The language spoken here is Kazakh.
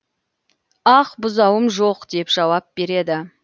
ақ бұзауым жоқ деп жауап береді